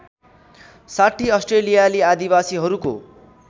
६० अस्ट्रेलियाली आदिवासीहरूको